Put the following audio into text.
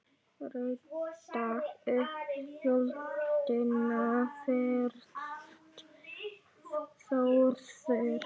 Rétta upp höndina fyrst Þórður.